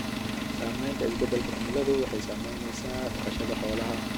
Saamaynta isbeddelka cimiladu waxay saamaynaysaa dhaqashada xoolaha.